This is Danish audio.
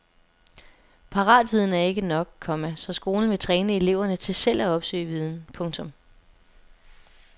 Paratviden er ikke nok, komma så skolen vil træne eleverne til selv at opsøge viden. punktum